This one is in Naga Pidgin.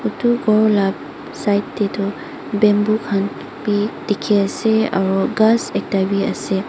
eto kor la side teh toh bamboo kan be dekhi ase aro khas ekta be ase.